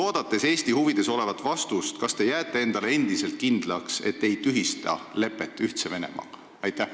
Oodates Eesti huvides olevat vastust, kas te jääte kindlaks, et te ei tühista lepet Ühtse Venemaaga?